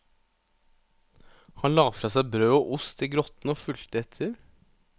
Han la fra seg brød og ost i grotten og fulgte etter.